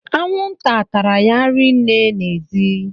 Anwụnta tara ya rinne n'ezi